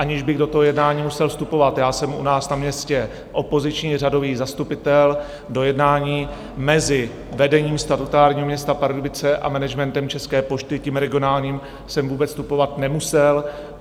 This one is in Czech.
Aniž bych do toho jednání musel vstupovat - já jsem u nás na městě opoziční řadový zastupitel, do jednání mezi vedením statutárního města Pardubice a managementem České pošty, tím regionálním, jsem vůbec vstupovat nemusel.